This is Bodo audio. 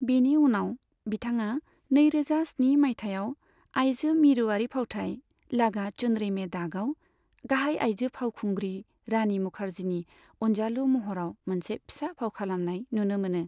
बिनि उनाव बिथाङा नैरोजा स्नि मायथाइयाव आइजो मिरुआरि फावथाय 'लागा चुनरी में दाग'आव गाहाय आइजो फावखुंग्रि रानी मुखार्जीनि अनजालु महराव मोनसे फिसा फाव खालामनाय नुनो मोनो।